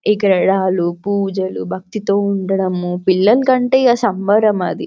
ఉండ్రాళ్ళు పూజలు భక్తితో ఉండడము పిల్లల కంటే సంబరం అది --